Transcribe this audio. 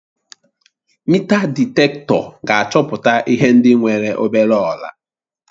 Meetal dịtektọ ga-achọpụta ihe ndị nwere obere ọla